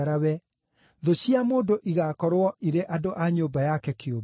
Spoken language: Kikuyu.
thũ cia mũndũ igaakorwo irĩ andũ a nyũmba yake kĩũmbe.’